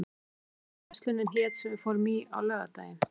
Björn, manstu hvað verslunin hét sem við fórum í á laugardaginn?